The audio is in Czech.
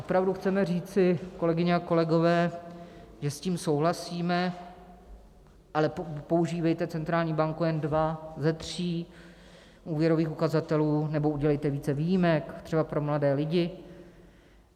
Opravdu chceme říci, kolegyně a kolegové, že s tím souhlasíme, ale používejte, centrální banko, jen dva ze tří úvěrových ukazatelů nebo udělejte více výjimek, třeba pro mladé lidi?